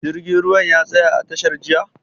Jirgin ruwan ya tsaya a tashar jiya?